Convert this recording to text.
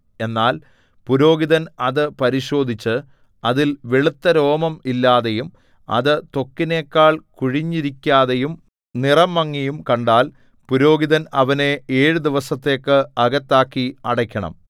എന്നാൽ പുരോഹിതൻ അത് പരിശോധിച്ച് അതിൽ വെളുത്തരോമം ഇല്ലാതെയും അത് ത്വക്കിനെക്കാൾ കുഴിഞ്ഞിരിക്കാതെയും നിറം മങ്ങിയും കണ്ടാൽ പുരോഹിതൻ അവനെ ഏഴു ദിവസത്തേക്ക് അകത്താക്കി അടയ്ക്കണം